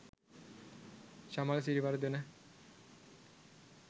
chamal siriwardana